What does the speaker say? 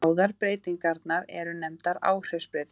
Báðar breytingarnar eru nefndar áhrifsbreytingar.